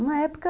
Uma época...